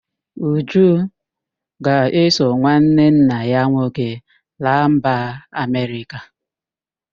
Uju ga-eso nwanne nna ya nwoke laa mba Amerịka